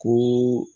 Ni